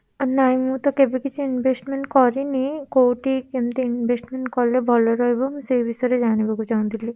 ନାଇଁ ମୁଁ ତ କେବେ କିଛି investment କରିନି, କୋଉଠି କେମିତି investment କଲେ ଭଲ ରହିବ ମୁଁ ସେଇ ବିଷୟରେ ଜାଣିବାକୁ ଚାହୁଁଥିଲି?